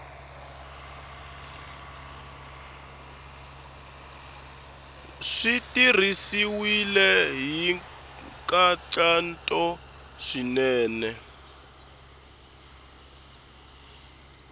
swi tirhisiwile hi nkhaqato swinene